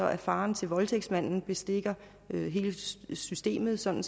at faren til voldtægtsmanden bestikker hele systemet sådan